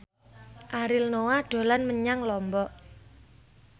Ariel Noah dolan menyang Lombok